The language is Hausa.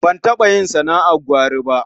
Ban taɓa yin sana'ar gwari ba.